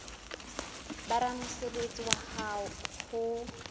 ba ramosebetsi wa hao ho